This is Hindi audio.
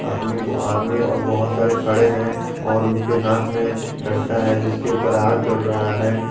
आदमी और बहुत सारे खड़े हैं और उनके हाथ में डंडा है जिसके ऊपर आग जल रहा है।